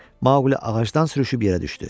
Maquli ağacdan sürüşüb yerə düşdü.